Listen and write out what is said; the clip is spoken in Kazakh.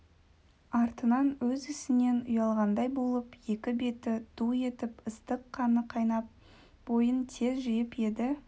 артынан өз ісінен ұялғандай болып екі беті ду етіп ыстық қаны қайнап бойын тез жиып еді